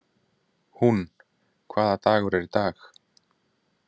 Húnn, hvaða dagur er í dag?